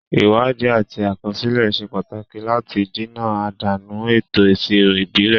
Ìwádìí àti àkọsílẹ̀ ṣe pàtàkì láti dènà àdánù ètò ìṣirò ìbílẹ̀.